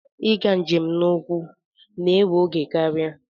Ịga njem n'ụkwụ na-ewe oge karịa.